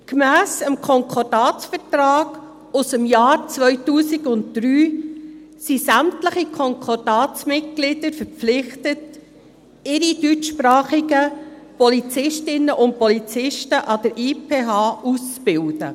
Gemäss dem Konkordatsvertrag aus dem Jahr 2003 sind sämtliche Konkordatsmitglieder verpflichtet, ihre deutschsprachigen Polizistinnen und Polizisten an der IPH auszubilden.